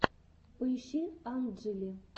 поищи анджли